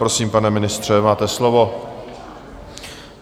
Prosím, pane ministře, máte slovo.